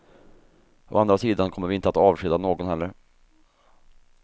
Å andra sidan kommer vi inte att avskeda någon heller.